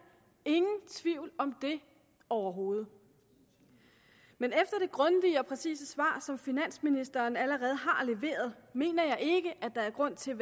ingen tvivl om det overhovedet men efter det grundige og præcise svar som finansministeren allerede har leveret mener jeg ikke der er grund til